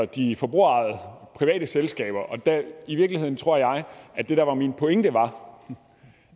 de forbrugerejede private selskaber i virkeligheden tror jeg at det der var min pointe var